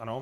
Ano.